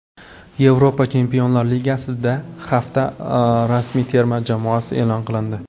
Yevropa Chempionlar Ligasida hafta ramziy terma jamoasi e’lon qilindi.